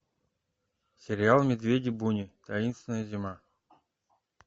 сериал медведи буни таинственная зима